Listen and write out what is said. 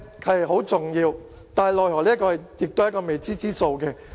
這是很重要的問題，奈何也是未知之數。